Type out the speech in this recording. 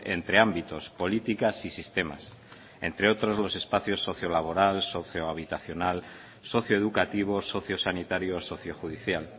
entre ámbitos políticas y sistemas entre otros los espacios sociolaboral sociohabitacional socioeducativo sociosanitario sociojudicial